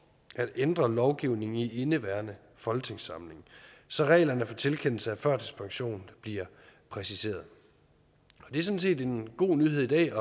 at ændre lovgivningen i indeværende folketingssamling så reglerne for tilkendelse af førtidspension bliver præciseret det er sådan set en god nyhed i dag